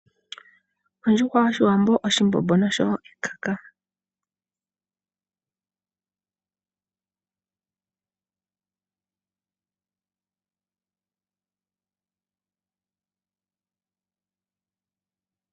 Ondjuhwa yoshiwambo, oshimbombo noshowo ekaka. Mbino oyo iikulya yaawambo iitoye lela noyi holike unene.